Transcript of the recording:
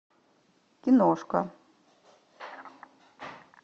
киношка